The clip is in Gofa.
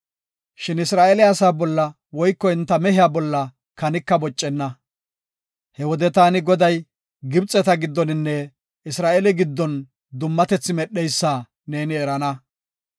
Shin Isra7eele asaa bolla woyko enta mehiya bolla kanika boccenna.’ He wode taani Goday Gibxeta giddoninne Isra7eele giddon dummatethi medheysa neeni erana.